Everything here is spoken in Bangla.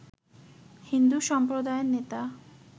হিন্দু সম্প্রদায়ের নেতা